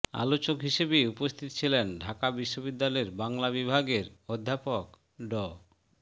আলোচক হিসেবে উপস্থিত ছিলেন ঢাকা বিশ্ববিদ্যালয়ের বাংলা বিভাগের অধ্যাপক ড